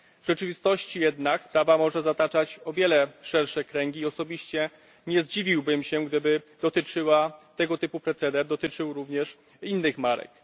W rzeczywistości jednak sprawa może zataczać o wiele szersze kręgi i osobiście nie zdziwiłbym się, gdyby tego typu proceder dotyczył również innych marek.